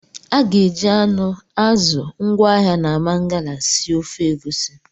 A ga-eji anụ, azụ ngwaahịa na Mangala sie ofe Egusi